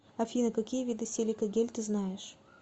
афина какие виды силикагель ты знаешь